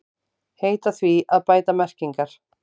Heita því að bæta merkingar